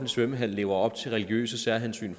svømmehal lever op til religiøse særhensyn